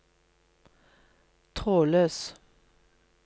trådløs